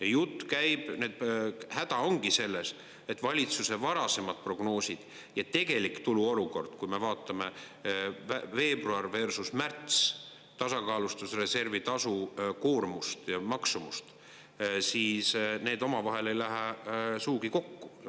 Ja jutt käib, häda ongi selles, et valitsuse varasemad prognoosid ja tegelik turuolukord, kui me vaatame veebruari versus märtsi tasakaalustusreservi tasu koormust ja maksumust, siis need omavahel ei lähe sugugi kokku.